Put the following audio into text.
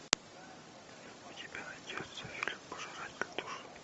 у тебя найдется фильм пожиратель душ